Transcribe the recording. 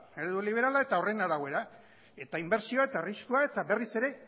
eredu liberala eta horren arabera eta inbertsioa eta arriskua eta berriz ere